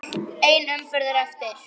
Ein umferð er eftir.